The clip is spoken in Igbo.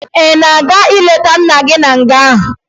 Ị ga-aga leta nna gị na nga?